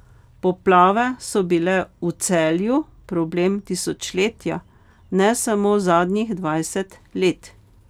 Poplave so bile v Celju problem tisočletja, ne samo zadnjih dvajset let.